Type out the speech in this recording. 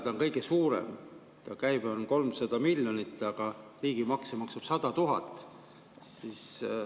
Ta on kõige suurem, ta käive on 300 miljonit, aga riigimakse maksab 100 000.